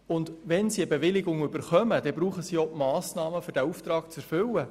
Und wenn sie eine Bewilligung erhalten, dann brauchen sie auch die Massnahmen, um den Auftrag zu erfüllen.